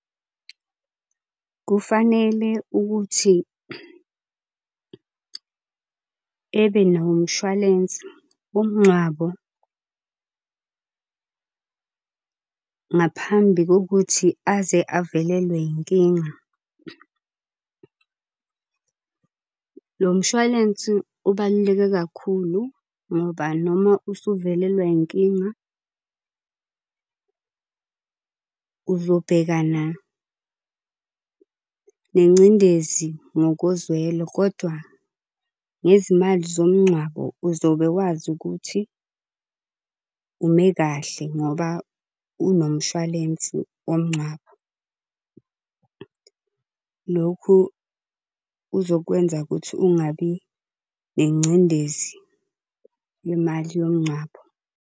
Kufanele ukuthi ebenawo umshwalense womngcwabo ngaphambi kokuthi aze avelelwe inkinga . Lo mshwalensi ubaluleke kakhulu ngoba noma usuvelelwe inkinga uzobhekana nengcindezi ngokozwelo kodwa ngezimali zomngcwabo uzobe wazi ukuthi ume kahle ngoba unomshwalensi womngcwabo. Lokhu kuzokwenza ukuthi ungabi nengcindezi yemali yomngcwabo.